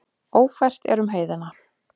Ófært er um heiðina.